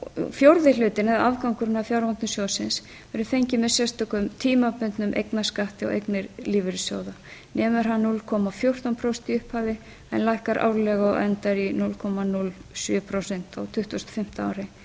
árið fjórði hlutinn eða afgangurinn af fjármagni sjóðsins verður fenginn með sérstökum tímabundnum eignarskatti á eignir lífeyrissjóða nemur hann núll komma fjórtán prósent í upphafi en lækkar árlega og endar í núll komma núll sjö prósent á tuttugustu og fimmta ári